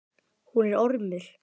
Hún er ormur.